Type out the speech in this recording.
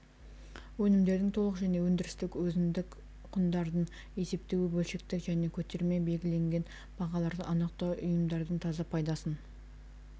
өнімдердің толық және өндірістік өзіндік құндарын есептеу бөлшектік және көтерме белгіленген бағаларды анықтау ұйымдардың таза пайдасын